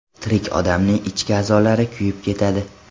Tirik odamning ichki a’zolari kuyib ketadi.